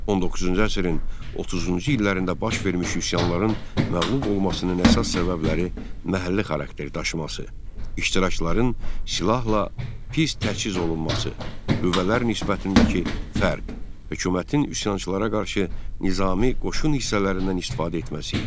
19-cu əsrin 30-cu illərində baş vermiş üsyanların məğlub olmasının əsas səbəbləri məhəlli xarakter daşıması, iştirakçıların silahla pis təchiz olunması, qüvvələr nisbətindəki fərq, hökumətin üsyançılara qarşı nizami qoşun hissələrindən istifadə etməsi idi.